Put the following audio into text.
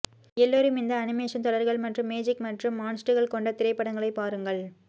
எல்லோரும் இந்த அனிமேஷன் தொடர்கள் மற்றும் மேஜிக் மற்றும் மான்ஸ்டுகள் கொண்ட திரைப்படங்களை பாருங்கள்